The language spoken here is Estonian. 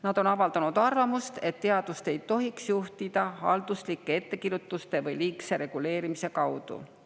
Nad on avaldanud arvamust, et teadust ei tohiks juhtida halduslike ettekirjutuste või liigse reguleerimise kaudu.